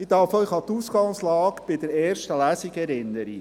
Ich darf Sie an die Ausgangslage bei der ersten Lesung erinnern: